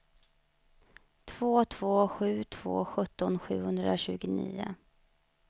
två två sju två sjutton sjuhundratjugonio